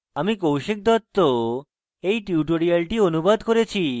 আমি কৌশিক দত্ত এই টিউটোরিয়ালটি অনুবাদ করেছি